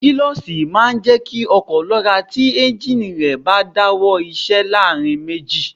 Kílọ̀ṣì náà máa ń jẹ́ kí ọkọ̀ lọ́ra tí éúnjínì rẹ̀ bá ń dáwọ́ iṣẹ́ láàrin méjì